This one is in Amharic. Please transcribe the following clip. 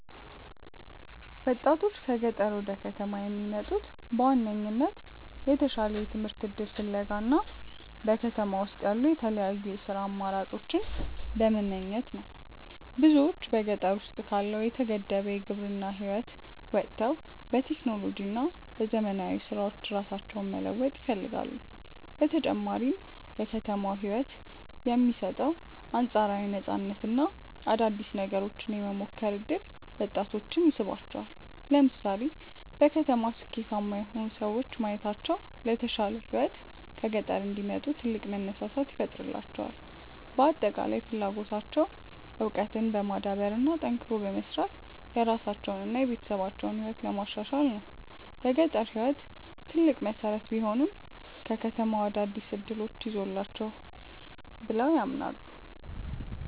ወጣቶች ከገጠር ወደ ከተማ የሚመጡት በዋናነት የተሻለ የትምህርት እድል ፍለጋ እና በከተማ ውስጥ ያሉ የተለያዩ የሥራ አማራጮችን በመመኘት ነው። ብዙዎች በገጠር ውስጥ ካለው የተገደበ የግብርና ህይወት ወጥተው በቴክኖሎጂ እና በዘመናዊ ስራዎች ራሳቸውን መለወጥ ይፈልጋሉ። በተጨማሪም የከተማው ህይወት የሚሰጠው አንፃራዊ ነፃነት እና አዳዲስ ነገሮችን የመሞከር እድል ወጣቶችን ይስባቸዋል። ለምሳሌ በከተማ ስኬታማ የሆኑ ሰዎችን ማየታቸው ለተሻለ ህይወት ከገጠር እንዲወጡ ትልቅ መነሳሳት ይፈጥርላቸዋል። በአጠቃላይ ፍላጎታቸው እውቀትን በማዳበር እና ጠንክሮ በመስራት የራሳቸውንና የቤተሰባቸውን ህይወት ማሻሻል ነው። የገጠር ህይወት ትልቅ መሰረት ቢሆንም፣ ከተማው አዳዲስ እድሎችን ይዞላቸዋል ብለው ያምናሉ።